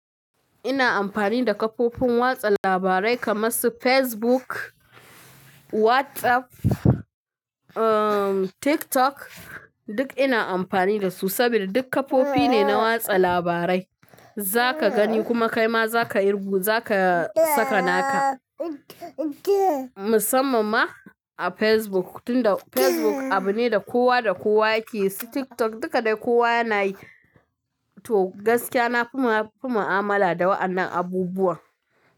Ina amfani da kafofin watsa labarai kamar su Facebook, WhatsApp, um, TikTok duk ina amfani da su saboda duk kafofi ne na watsa labarai. Za ka gani kuma kai ma za ka yi rugu, za ka saka naka. Musamman ma a Facebook tunda Facebook abu ne da kowa da kowa yake si TikTok duk da kowa yana yi. To gaskiya na fi ma, na fi ma amala da waɗannan abubuwa.